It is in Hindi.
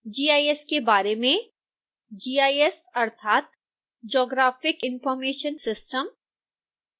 gis के बारे में